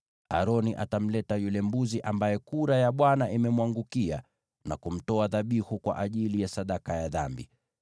Aroni atamleta yule mbuzi ambaye kura ya Bwana imemwangukia na kumtoa dhabihu kwa ajili ya sadaka ya dhambi.